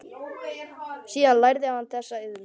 Síðan lærði hann þessa iðn.